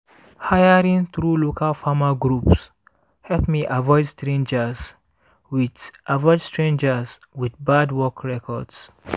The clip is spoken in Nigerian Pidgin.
hiring through local farmer groups help me avoid strangers with avoid strangers with bad work records.